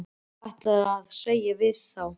Hún drífur verkið af á sex dögum.